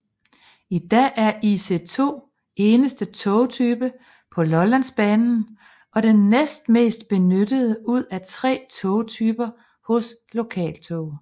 I dag er IC2 eneste togtype på Lollandsbanen og den næstmest benyttede ud af tre togtyper hos Lokaltog